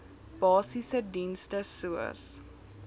basiese dienste soos